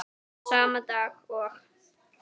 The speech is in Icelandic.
Sama dag og